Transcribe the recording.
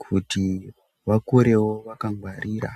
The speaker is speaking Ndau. kuti vakurewo vakangwarira.